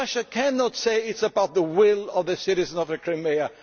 Russia cannot say that this is about the will of the citizens of the Crimea.